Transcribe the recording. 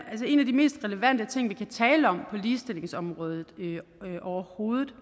en af de mest relevante ting vi kan tale om på ligestillingsområdet overhovedet